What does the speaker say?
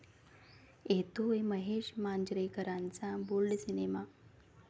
येतोय महेश मांजरेकरांचा bold cinema!